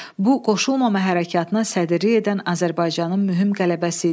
Bu, Qoşulmama Hərəkatına sədrlik edən Azərbaycanın mühüm qələbəsi idi.